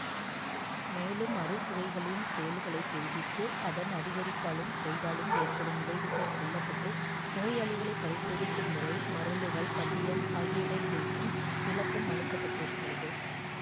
மேலும் அறுசுவைகளின் செயல்களை தெரிவித்து அதன் அதிகரிப்பாலும் குறைவாலும் ஏற்படும் விளைவுகள் சொல்ல பட்டு நோயாளிகளைப் பரிசோதிக்கும் முறை மருந்துகள் பத்தியம் ஆகியவை குறித்தும் விளக்கமளிப்பட்டிருக்கிறது